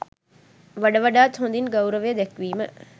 වඩ වඩාත් හොදින් ගෞරවය දැක්වීම